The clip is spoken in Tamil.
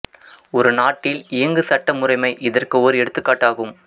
ஒரு நாட்டில் இயங்கு சட்ட முறைமை இதற்கு ஓர் எடுத்துக்காட்டாகும்